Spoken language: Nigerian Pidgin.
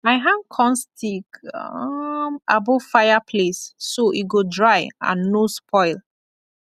i hang corn stick um above fireplace so e go dry and no spoil